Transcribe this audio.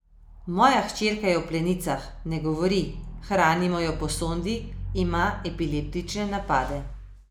Moja hčerka je v plenicah, ne govori, hranimo jo po sondi, ima epileptične napade.